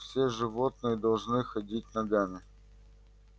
все животные должны ходить ногами